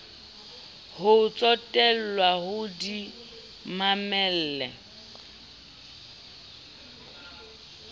ho tsotellwa o di mamelle